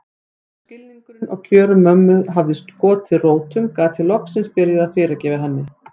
Þegar skilningurinn á kjörum mömmu hafði skotið rótum gat ég loksins byrjað að fyrirgefa henni.